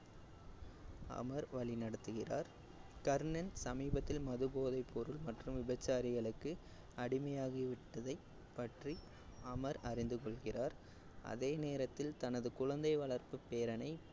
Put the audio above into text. அமர் வழிநடத்துகிறார். கர்ணன் சமீபத்தில் மது, போதைப்பொருள் மற்றும் விபச்சாரிகளுக்கு அடிமையாகிவிட்டதைப் பற்றி அமர் அறிந்துகொள்கிறார் அதே நேரத்தில் தனது குழந்தை வளர்ப்பு பேரனை